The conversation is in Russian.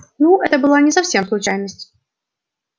ну это была не совсем случайность